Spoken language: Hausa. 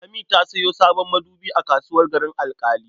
Lami ta sayo sabon madubi a kasuwar Garin Alƙali.